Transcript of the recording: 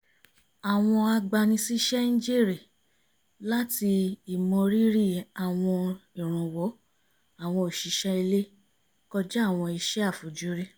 àwọn agbani-síṣẹ́ ń jèrè láti ìmọ rírì àwọn ìrànwọ́ àwọn òṣìṣẹ́ ilé kọjá àwọn iṣẹ́ àfojúrí